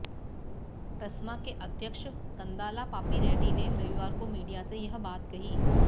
ट्रस्मा के अध्यक्ष कंदाला पापी रेड्डी ने रविवार को मीडिया से यह बात कही